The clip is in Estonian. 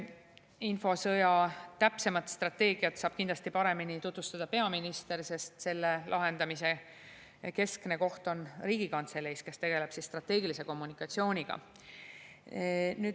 Infosõja täpsemat strateegiat saab kindlasti paremini tutvustada peaminister, sest selle lahendamise keskne koht on Riigikantsele, kes tegeleb strateegilise kommunikatsiooniga.